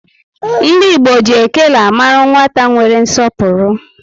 Ndi Igbo ji ékélé amaru nwata nwere nsọpụrụ